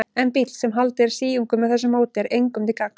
En bíll, sem haldið er síungum með þessu móti, er engum til gagns.